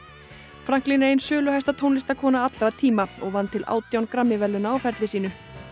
Franklin er ein söluhæsta tónlistarkona allra tíma og vann til átján Grammy verðlauna á ferli sínum